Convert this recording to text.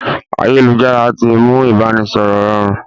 Ayélujára tí mú ibanisọrọ rọrùn